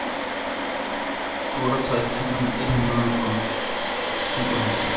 otteogtres tusind et hundrede og syvoghalvtreds